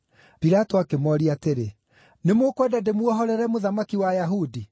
Pilato akĩmooria atĩrĩ, “Nĩ mũkwenda ndĩmuohorere mũthamaki wa Ayahudi?”